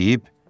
Deyib: